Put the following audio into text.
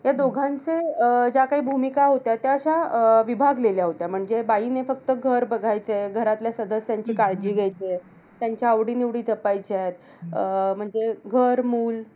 त्या दोघांच्या अं ज्या काही भूमिका होत्या, त्या अश्या अं विभागलेल्या होत्या. म्हणजे बाईने फक्त घर बघायचं. घरातल्या सदस्यांची काळजी घ्यायची. त्यांच्या आवडी-निवडी जपायच्यात. अं म्हणजे घर मूल